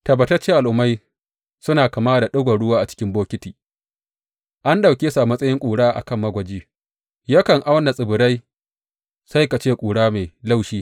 Tabbatacce al’ummai suna kama da ɗigon ruwa a cikin bokiti an ɗauke su a matsayin ƙura a kan magwaji; yakan auna tsibirai sai ka ce ƙura mai laushi.